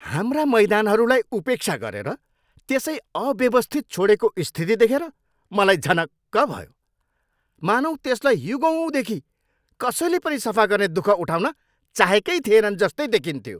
हाम्रा मैदानहरूलाई उपेक्षा गरेर त्यसै अव्यवस्थित छोडेको स्थिति देखेर मलाई झनक्क भयो। मानौँ त्यसलाई युगौँदेखि कसैले पनि सफा गर्ने दुख उठाउन चाहेकै थिएनन् जस्तै देखिन्थ्यो।